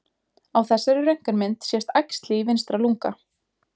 Á þessari röntgenmynd sést æxli í vinstra lunga.